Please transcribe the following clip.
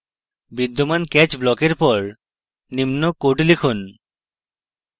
বিদ্যমান catch block এর পর নিম্ন code লিখুন